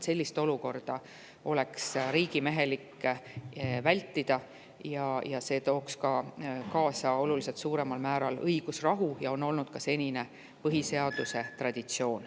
Sellist olukorda oleks riigimehelik vältida, sest see tooks kaasa oluliselt suuremal määral õigusrahu ja see on olnud ka senine põhiseaduse traditsioon.